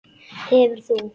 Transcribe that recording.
Hefur þú.?